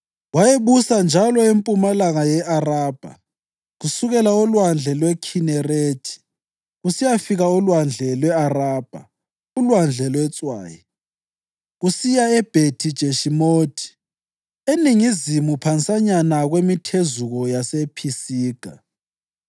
Wayebusa njalo empumalanga ye-Arabha kusukela olwandle lweKhinerethi kusiyafika olwandle lwe-Arabha (uLwandle lweTswayi) kusiya eBhethi-Jeshimothi, eningizimu phansanyana kwemithezuko yasePhisiga: